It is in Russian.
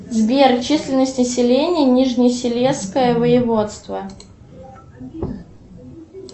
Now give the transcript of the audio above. сбер численность населения нижнесилезское воеводство